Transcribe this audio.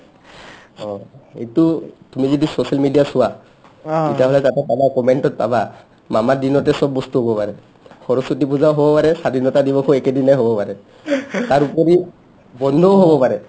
অ ইটো তুমি যি social media ত চোৱা তেতিয়াহ'লে তাতে পাবা comment ত পাবা মামাৰ দিনেতে চব বস্তু হ'ব পাৰে সৰস্ৱতী পূজাও হ'ব পাৰে স্ৱাধীনতা দিৱসো একেদিনাই হ'ব পাৰে তাৰ উপৰি বন্ধও হ'ব পাৰে